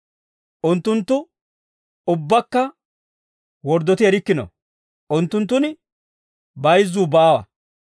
Unttunttu ubbaakka worddoti erikkino; unttunttun bayizzuu baawa.